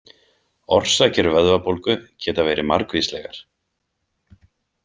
Orsakir vöðvabólgu geta verið margvíslegar.